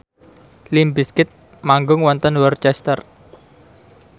limp bizkit manggung wonten Worcester